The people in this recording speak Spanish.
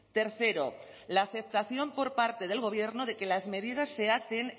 tercero la aceptación por parte del gobierno de que las medidas se hacen